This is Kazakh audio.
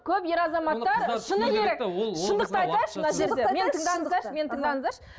көп ер азаматтар шыны керек шындықты айтайықшы мына жерде мені тыңдаңыздаршы мені тыңдаңыздаршы